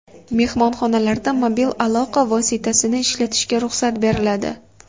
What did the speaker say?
Mehmonxonalarda mobil aloqa vositasini ishlatishga ruxsat beriladi .